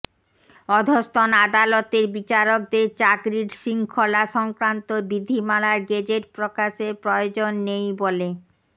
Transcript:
অধস্তন আদালতের বিচারকদের চাকরির শৃঙ্খলা সংক্রান্ত বিধিমালার গেজেট প্রকাশের প্রয়োজন নেই বলে